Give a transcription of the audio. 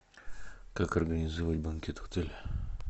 как организовать банкет в отеле